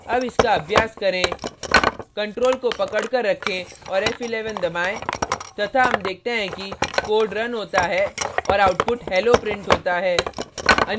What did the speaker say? अब इसका अभ्यास करें ctrl को पकड कर रखें और f11 दबाएँ तथा हम देखते हैं कि code रन होता है और output hello printed होता है